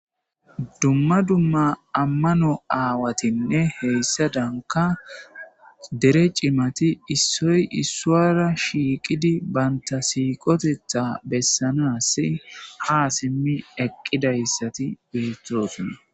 dumma dumma ammano aawatinne heyssadanka dere cimati issoy issuwara shiiqidi banta siiqotetha bessanas ha simmi eqqidayssati beethosunna